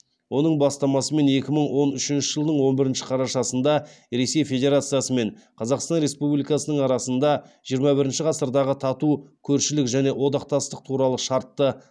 оның бастамасымен екі мың он үшінші жылдың он бірінші қарашасында ресей федерациясы мен қазақстан республикасының арасында жиырма бірінші ғасырдағы тату көршілік және одақтастық туралы шартты